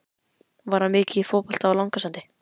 Var hann mikið í fótbolta á Langasandi?